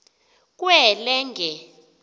kwelenge